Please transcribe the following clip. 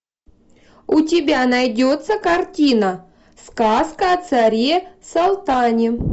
у тебя найдется картина сказка о царе салтане